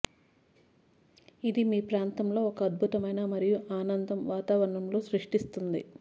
ఇది మీ ప్రాంతంలో ఒక అద్భుతమైన మరియు ఆనందం వాతావరణంలో సృష్టిస్తుంది